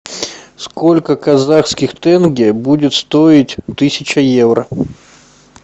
сколько казахских тенге будет стоить тысяча евро